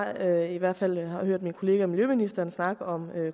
at jeg i hvert fald har hørt min kollega miljøministeren snakke om